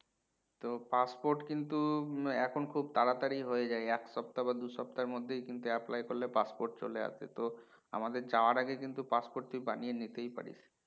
তো passport কিন্তু এখন খুব তাড়াতাড়ি হয়ে যায় এক সপ্তাহ বা দুই সপ্তার মধ্যেই কিন্তু apply করলে passport চলে আসে তো আমাদের যাওয়ার আগে কিন্তু passport তুই বানিয়া নিতেই পারিস